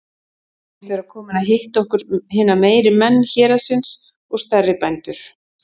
Segist vera kominn að hitta okkur hina meiri menn héraðsins og stærri bændur.